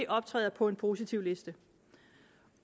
optræder på en positivliste